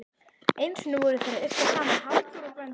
Einu sinni voru þeir að yrkja saman Halldór og Gvendur.